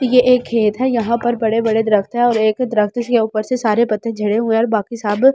ये एक खेत है यहां पर बड़े-बड़े दरख्त हैं और एक दरख्त के ऊपर से सारे पत्ते जुड़े हुए हैं और बाकी सब हरे।